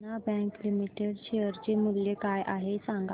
देना Bank Limited share चे मूल्य काय आहे हे सांगा